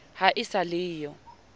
ha e sa le yo